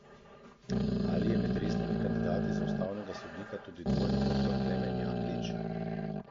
Ali je med resnimi kandidati za ustavnega sodnika tudi dvojni doktor Klemen Jaklič?